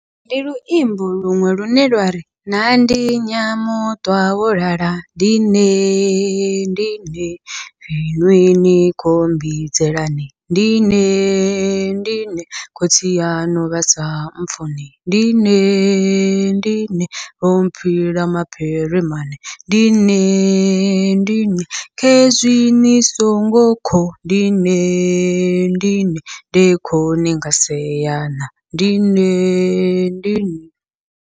Ndi luimbo luṅwe lune lwari naa ndi nyamuṱwa wo lala ndi nde ndi nde, iṅwi ni khou mbidzelani ndi nde ndi nde, khotsi yaṋu vhasa mupfhuni ndi nde ndi nde, vho phila mapiri mane ndi nde ndi nde, khezwi ni songo kho ndi nde ndi nde nda kho ninga seya na ndi nde ndi nde.